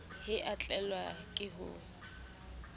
he a tlelwa ke ho